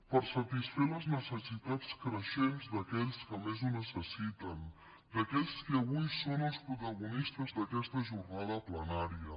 per satisfer les necessitats creixents d’aquells que més ho necessiten d’aquells que avui són els protagonistes d’aquesta jornada plenària